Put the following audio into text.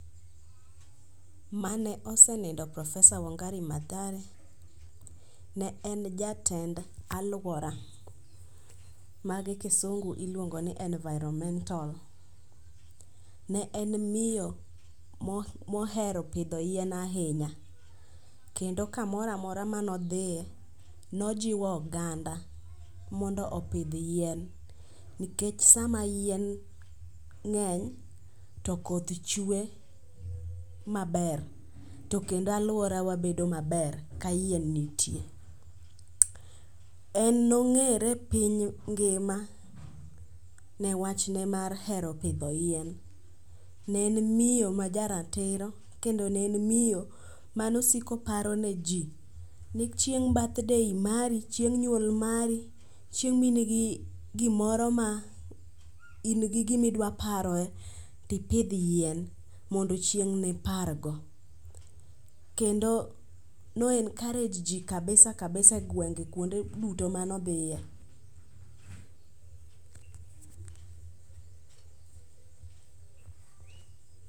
Mane osenindo porofesa Wangare Mathare ne en jatend aluora ma gi kisungu iluongo ni environmental. Ne en miyo mohero pidho yien ahinya kendo kamoro amora mane odhiye, ne ojiwo oganda mondo opidh yien. Nikech sama yien ng'eny, to koth chwe maber to kendo aluorawa bedo maber ka yien nitie. En nong'ere e piny ngima ne wachne mar hero pidho yien. Ne en miyo majaratiro kendo ne en miyo mane osiko paroneji ni chieng' birthday mari, chieng' nyuol mari, chieng' ma in gi gimoro ma in gi gimidwa paro to ipidh yien, mondo chieng' nipargo. Kendo ne o encourage ji kabisa kabisa egwenge kuonde mane odhiye.